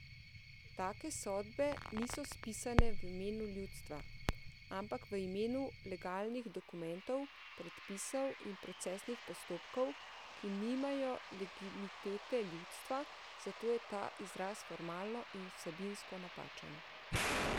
Tako sodbe niso spisane v imenu ljudstva, ampak v imenu legalnih dokumentov, predpisov in procesnih postopkov, ki nimajo legitimitete ljudstva, zato je ta izraz formalno in vsebinsko napačen.